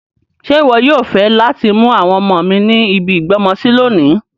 Ṣe wọ yoo fẹ lati mu àwọn ọmọ mi ni ibi ìgbọ́mọsi lonìí